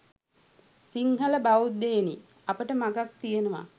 සිංහල බෞද්ධයෙනි අපට මගක් තියෙනවා